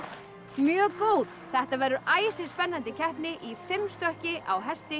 mjög góð þetta verður æsispennandi keppni í fimm stökki á hesti